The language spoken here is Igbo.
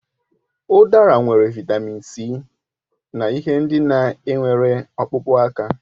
Udara nwere Vị́tamị́n C na ihe ndị na enwere ọkpụkpụ aka